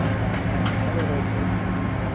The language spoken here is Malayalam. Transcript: ആ അങ്ങനെ അങ്ങനെ കൊറേ ഉണ്ട്